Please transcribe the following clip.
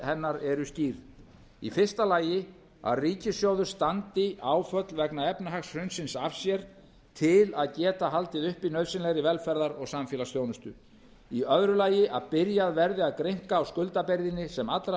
hennar eru skýr í fyrsta lagi að ríkissjóður standi áföll vegna efnahagshrunsins af sér til að geta haldið uppi nauðsynlegri velferðar og samfélagsþjónustu í öðru lagi að byrjað verði að grynnka á skuldabyrðinni sem allra